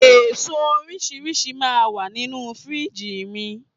Èso oríṣiríṣi máa ń wà nínú Fírìjì mi